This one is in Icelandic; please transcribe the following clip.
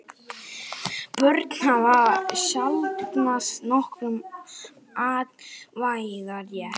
Börn hafa sjaldnast nokkurn atkvæðarétt.